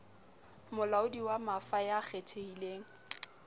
molaodi wa mafa ya kgethehileng